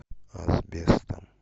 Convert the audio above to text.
асбестом